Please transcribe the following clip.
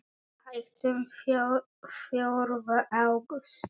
Hættum fjórða ágúst.